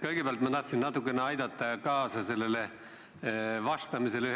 Kõigepealt ma tahtsin natukene aidata ühele